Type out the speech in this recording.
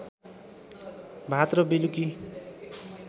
भात र बेलुकी